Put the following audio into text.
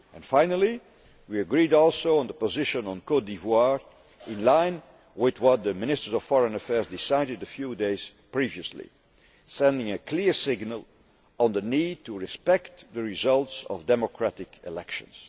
Finally, we agreed also on the position on Côte d'Ivoire, in line with what the Ministers of Foreign Affairs decided a few days previously, sending a clear signal on the need to respect the results of democratic elections.